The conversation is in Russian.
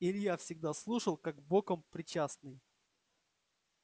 илья всегда слушал как боком причастный